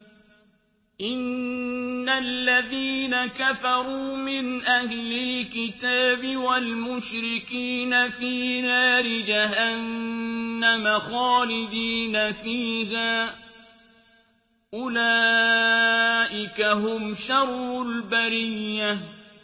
إِنَّ الَّذِينَ كَفَرُوا مِنْ أَهْلِ الْكِتَابِ وَالْمُشْرِكِينَ فِي نَارِ جَهَنَّمَ خَالِدِينَ فِيهَا ۚ أُولَٰئِكَ هُمْ شَرُّ الْبَرِيَّةِ